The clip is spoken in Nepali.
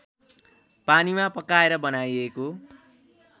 पानीमा पकाएर बनाइएको